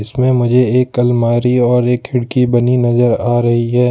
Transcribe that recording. इसमें मुझे एक अलमारी और एक खिड़की बनी नजर आ रही है।